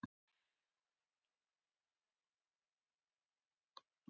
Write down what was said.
Sér á báti.